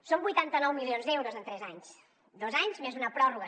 són vuitanta nou milions d’euros en tres anys dos anys més una pròrroga